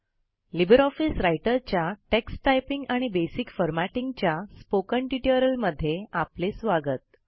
Libre office रायटरच्या text typing आणि basic formatting वरील स्पोकन ट्युटोरियलमध्ये आपले स्वागत